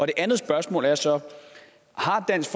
det andet spørgsmål er så har dansk